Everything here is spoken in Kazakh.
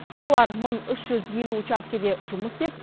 олар мың үш жүз елу учаскеде жұмыс істеп